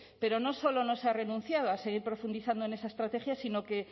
pero no solo no se ha renunciado a seguir profundizando en esa estrategia sino que